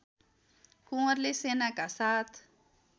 कुँवरले सेनाका साथ